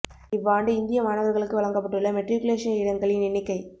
இவ்வாண்டு இந்திய மாணவர்களுக்கு வழங்கப்பட்டுள்ள மெட்ரிக்குலேசன் இடங்களின் எண்ணிக்கை